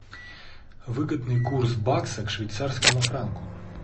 выгодный курс бакса к швейцарскому франку